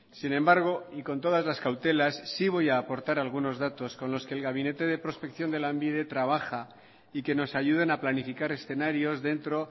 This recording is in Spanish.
sin embargo y con todas las cautelas sí voy a aportar algunos datos con los que el gabinete de prospección de lanbide trabaja y que nos ayuden a planificar escenarios dentro